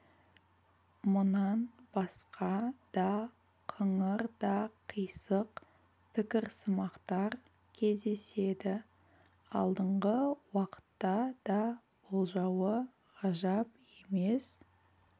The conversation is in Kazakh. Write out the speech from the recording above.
мұнан басқа да қыңыр да қисық пікірсымақтар кездеседі алдыңғы уақытта да болуы ғажап емес